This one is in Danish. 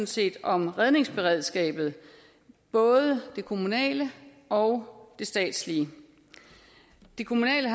set om redningsberedskabet både det kommunale og det statslige det kommunale